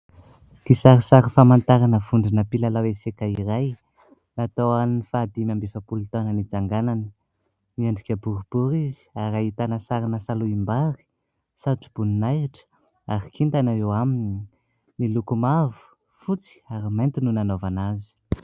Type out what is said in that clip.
Kisarisary famantarana vondrona mpilalao eseka iray. Natao ho an'ny faha dimy amby efapolo taona nitsanganany. Miendrika boribory izy ary ahitana sarina salohim-bary, satro-boninahitra ary kintana eo aminy. Miloko mavo, fotsy ary mainty no nanaovana azy.